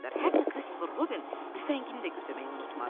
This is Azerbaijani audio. Hətta Christopher Robin tüfəngini də götürməyi unutmadı.